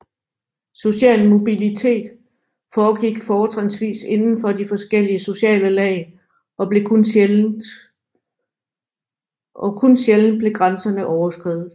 Social mobilitet foregik fortrinsvis indenfor de forskellige sociale lag og kun sjældent blev grænserne overskredet